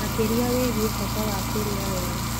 makĩria wĩgie bata wa kũria wega.